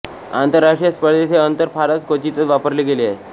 आंतरराष्ट्रीय स्पर्धेत हेअंतर फारच क्वचितच वापरले गेले आहे